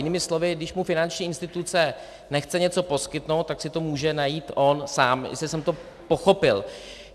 Jinými slovy, když mu finanční instituce nechce něco poskytnout, tak si to může najít on sám, jestli jsem to pochopil.